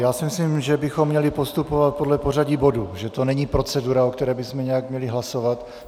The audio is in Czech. Já si myslím, že bychom měli postupovat podle pořadí bodů, že to není procedura, o které bychom měli nějak hlasovat.